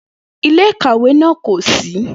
Ile-ikawe naa ko ṣii.